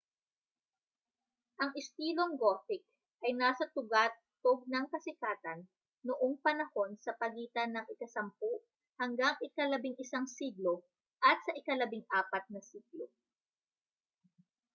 ang istilong gothic ay nasa tugatog ng kasikatan noong panahon sa pagitan ng ika-10 -11 siglo at sa ika-14 na siglo